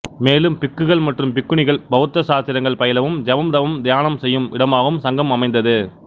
மேலும் பிக்குகள் மற்றும் பிக்குணிகள் பௌத்த சாத்திரங்கள் பயிலவும் ஜெபம் தவம் தியானம் செய்யும் இடமாகவும் சங்கம் அமைந்தது